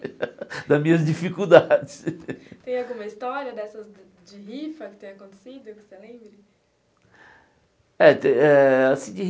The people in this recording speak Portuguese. das minhas dificuldades Tem alguma história dessas de rifa que tem acontecido, que você lembra? Eh te eh assim de